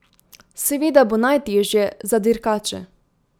Seveda bo najtežje za dirkače.